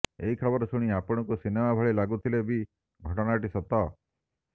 ଏହି ଖବର ଶୁଣି ଆପଣଙ୍କୁ ସିନେମା ଭଳି ଲାଗୁ ଥିଲେ ବି ଘଟଣା ଟି ସତ